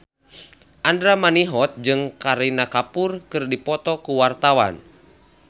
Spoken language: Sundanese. Andra Manihot jeung Kareena Kapoor keur dipoto ku wartawan